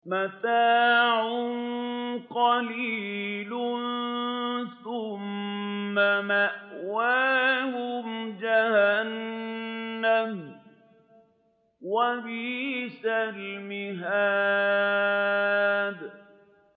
مَتَاعٌ قَلِيلٌ ثُمَّ مَأْوَاهُمْ جَهَنَّمُ ۚ وَبِئْسَ الْمِهَادُ